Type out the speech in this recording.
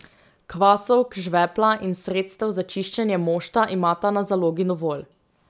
Kvasovk, žvepla in sredstev za čiščenje mošta imava na zalogi dovolj.